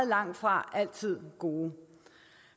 langtfra altid gode